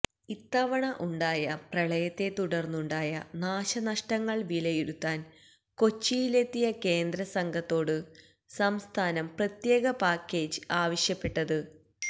ഇത്തവണ ഉണ്ടായ പ്രളയത്തെ തുടര്ന്നുണ്ടായ നാശനഷ്ടങ്ങള് വിലയിരുത്താന് കൊച്ചിയിലെത്തിയ കേന്ദ്രസംഘത്തോടാണ് സംസ്ഥാനം പ്രത്യേക പാക്കേജ് ആവശ്യപ്പെട്ടത്